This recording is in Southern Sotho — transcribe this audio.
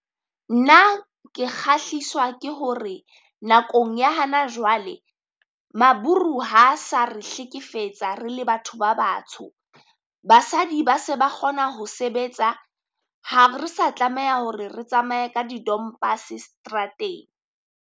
Nna ke kgahliswa ke hore nakong ya hana jwale, maburu ha sa re hlekefetsa re le batho ba batho. Basadi ba se ba kgona ho sebetsa, ha re sa tlameha hore re tsamaye ka di dompas seterateng.